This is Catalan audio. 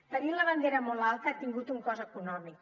tenir la bandera molt alta ha tingut un cost econòmic